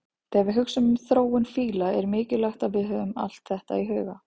Þegar við hugsum um þróun fíla er mikilvægt að við höfum allt þetta í huga.